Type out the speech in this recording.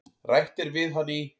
Rætt er við hann í